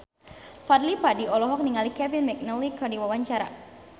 Fadly Padi olohok ningali Kevin McNally keur diwawancara